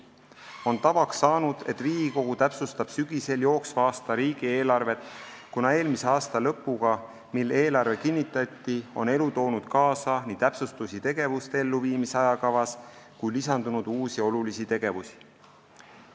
On tavaks saanud, et Riigikogu täpsustab sügisel jooksva aasta riigieelarvet, kuna alates eelmise aasta lõpust, kui eelarve kinnitati, on elu toonud kaasa täpsustusi tegevuste elluviimise ajakavas ning lisandunud on ka uusi ja olulisi tegevusi.